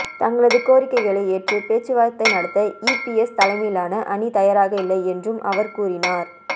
தங்களது கோரிக்கைகளை ஏற்று பேச்சுவார்த்தை நடத்த ஈபிஎஸ் தலைமையிலாலன அணி தயாராக இல்லை என்றும் அவர் கூறீனார்